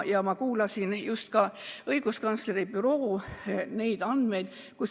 Ma kuulsin just ka õiguskantsleri büroo andmeid.